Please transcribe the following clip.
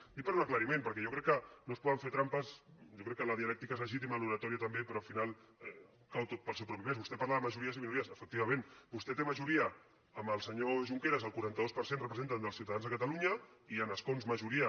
ho dic per un aclariment perquè jo crec que no es poden fer trampes jo crec que la dialèctica és legítima l’oratòria també però al final cau tot pel seu propi pes vostè parla de majories i minories efectivament vostè té majoria amb el senyor junqueras el quaranta dos per cent representen dels ciutadans de catalunya i en escons majoria